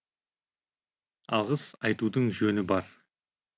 алғыс айтудың жөні бар